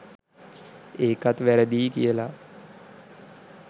ඒකත් වැරදියි කියලා